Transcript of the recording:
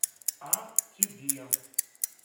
а тебе